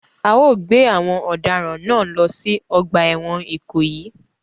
A o gbé àwon òdaràn náà lo si ogbà èwòn Ìkòyí